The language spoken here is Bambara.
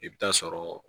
I bɛ taa sɔrɔ